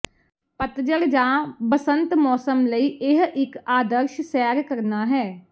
ਪਤਝੜ ਜਾਂ ਬਸੰਤ ਮੌਸਮ ਲਈ ਇਹ ਇੱਕ ਆਦਰਸ਼ ਸੈਰ ਕਰਨਾ ਹੈ